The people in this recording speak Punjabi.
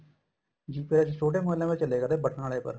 GPRS ਛੋਟੇ ਮੋਬਇਲਾ ਪਰ ਚਲੇਗਾ ਬਟਨਾ ਆਲੇ ਪਰ